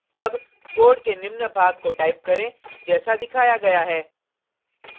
अब कोड के निम्न भाग को टाइप करें जैसा दिखाया गया है